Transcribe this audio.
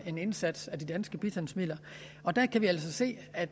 en indsats med de danske bistandsmidler der kan vi altså se at